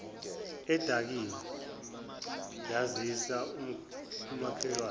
edakiwe yazisa umakhelwane